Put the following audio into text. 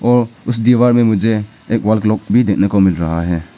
और उस दीवार में मुझे एक वॉल क्लॉक भी देखने को मिल रहा है।